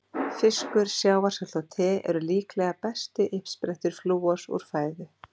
Fiskur, sjávarsalt og te eru líklega bestu uppsprettur flúors úr fæðu.